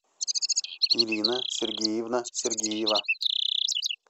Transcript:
ирина сергеевна сергеева